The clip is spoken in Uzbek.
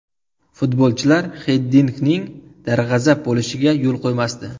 Futbolchilar Xiddinkning darg‘azab bo‘lishiga yo‘l qo‘ymasdi.